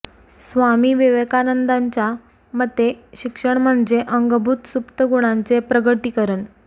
स्वामी विवेकानंदांच्या मते शिक्षण म्हणजे अंगभुत सुप्त गुणांचे प्रगटीकरण